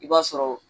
I b'a sɔrɔ